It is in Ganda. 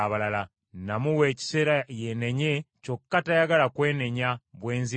Namuwa ekiseera yeenenye, kyokka tayagala kwenenya bwenzi bwe.